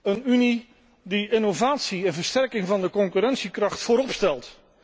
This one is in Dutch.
Een Unie die innovatie en versterking van de concurrentiekracht voorop stelt.